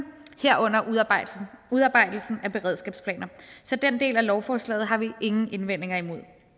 herunder udarbejdelse af beredskabsplaner så den del af lovforslaget har vi ingen indvendinger imod